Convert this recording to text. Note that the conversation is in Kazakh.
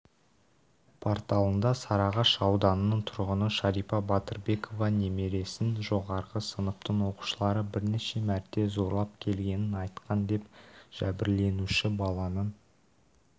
порталында сарыағаш ауданының тұрғыны шарипа батырбекова немересін жоғары сыныптың оқушылары бірнеше мәрте зорлап келгенін айтқан деп жәбірленуші баланың